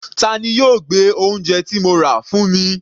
Tani yóò gbé oúnje ti mo rà wá fún mi?